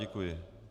Děkuji.